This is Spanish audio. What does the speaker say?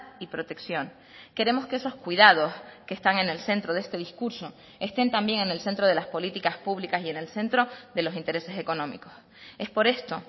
y protección queremos que esos cuidados que están en el centro de este discurso estén también en el centro de las políticas públicas y en el centro de los intereses económicos es por esto